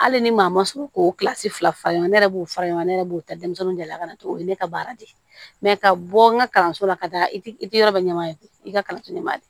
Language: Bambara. Hali ni maa ma sogo k'o fila faga ne yɛrɛ b'o fara ɲɔgɔn yɛrɛ b'o ta denmisɛnninw de la ka na o ye ne ka baara de ye ka bɔ n ka kalanso la ka taa i ti yɔrɔ bɛɛ ɲɛ i ka kalan te ɲɛ de